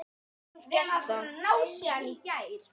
Ég hef gert það.